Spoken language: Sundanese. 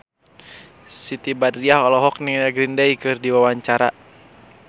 Siti Badriah olohok ningali Green Day keur diwawancara